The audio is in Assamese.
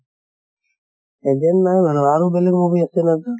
alien নহয় বাৰু আৰু বেলেগ movie আছে ন তাৰ